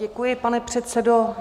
Děkuji, pane předsedo.